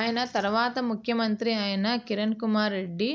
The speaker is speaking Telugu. ఆయన తర్వాత ముఖ్యమంత్రి అయిన కిరణ్కుమార్ రెడ్డి